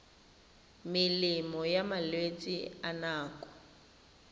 melemo ya malwetse a nako